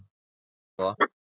Hún var það.